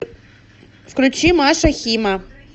включи маша хима